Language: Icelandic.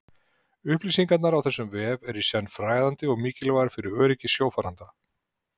Upplýsingarnar á þessum vef eru í senn fræðandi og mikilvægar fyrir öryggi sjófarenda.